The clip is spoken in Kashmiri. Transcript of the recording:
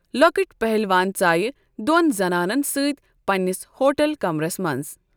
لوكٕٹۍ پہلوان ژایہ دوٚن زنانَن سۭتۍ پنِنس ہوٹل کمرَس منٛز ۔